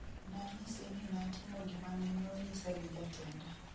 nanyise ni natimo gimane nonyisa gi jatenda